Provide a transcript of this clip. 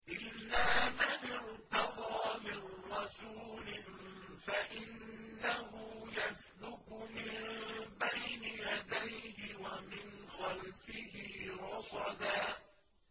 إِلَّا مَنِ ارْتَضَىٰ مِن رَّسُولٍ فَإِنَّهُ يَسْلُكُ مِن بَيْنِ يَدَيْهِ وَمِنْ خَلْفِهِ رَصَدًا